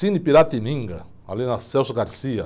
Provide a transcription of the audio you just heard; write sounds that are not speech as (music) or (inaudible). Cine Piratininga, ali na. (unintelligible)